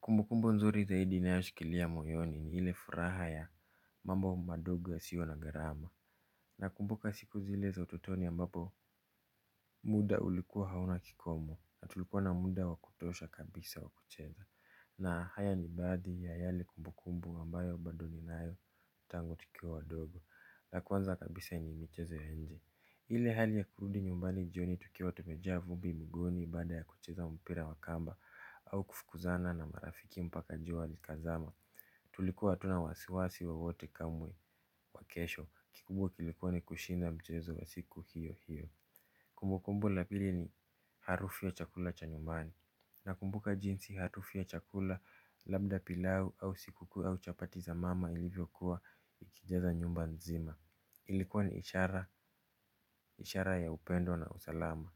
Kumbukumbu nzuri zaidi ninayoshikilia moyoni ni ile furaha ya mambo madogo yasiyo na gharama. Nakumbuka siku zile za utotoni ambapo muda ulikuwa hauna kikomo na tulikuwa na muda wa kutosha kabisa wa kucheza. Na haya ni baadhi ya yale kumbukumbu ambayo bado ninayo tangu tukiwa wadogo na kwanza kabisa ni michezo ya nje. Ile hali ya kurudi nyumbani jioni tukiwa tumejaa vumbi mguuni baada ya kucheza mpira wa kamba au kufukuzana na marafiki mpaka jua likazama. Tulikuwa hatuna wasiwasi wowote kamwe wa kesho kikubwa kilikuwa ni kushinda mchezo wa siku hiyo hiyo. Kumbukumbu la pili ni harufu ya chakula cha nyumbani. Nakumbuka jinsi harufu ya chakula labda pilau au siku kuu au chapati za mama ilivyokuwa ikijaza nyumba nzima. Ilikuwa ni ishara, ishara ya upendo na usalama